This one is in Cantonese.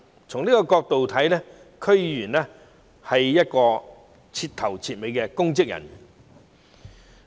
從這些角度來看，區議員是徹頭徹尾的公職人員。